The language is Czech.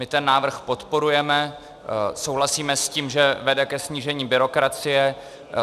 My ten návrh podporujeme, souhlasíme s tím, že vede ke snížení byrokracie.